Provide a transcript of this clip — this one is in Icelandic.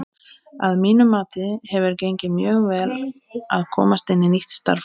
Að mínu mati hefur gengið mjög vel að komast inn í nýtt starf.